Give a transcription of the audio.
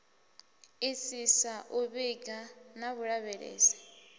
isisa u vhiga na vhulavhelesi